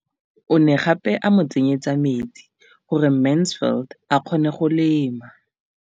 O ne gape a mo tsenyetsa metsi gore Mansfield a kgone go lema.